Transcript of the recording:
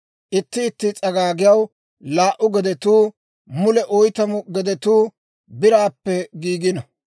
Itti itti s'agaagiyaw laa"u gedetuu, mule oytamu gedetuu, biraappe giigino.